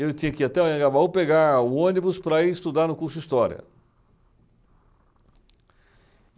Ele tinha que ir até o Anhangabaú, pegar o ônibus para ir estudar no curso de História.